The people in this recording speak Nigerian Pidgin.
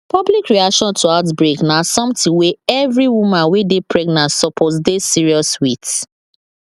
public reaction to outbreak na something wey every woman wey dey pregnant suppose dey serious with